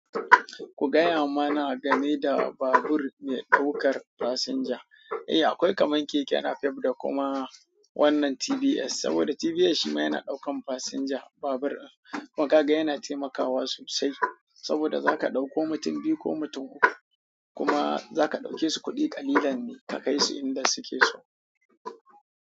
Ku gaya mana game da babur mai ɗaukar fasinja. Eh, akwai kamar keke napep da kuma wannan TBS, saboda TBS shi ma yana ɗaukar fasinja. Babur makaga yana taimakawa sosai saboda zaka ɗauko mutum biyu ko mutum uku kuma zaka ɗauke su kuɗi ƙalilan ne ka kai su inda suke so.